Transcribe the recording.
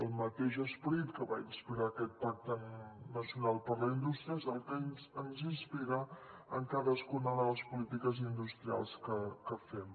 el mateix esperit que va inspirar aquest pacte nacional per a la indústria és el que ens inspira en cadascuna de les polítiques industrials que fem